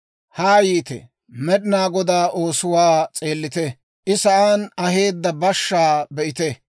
Haa yiite; Med'inaa Goday oosuwaa s'eellite; I sa'aan aheedda bashshaa be'ite.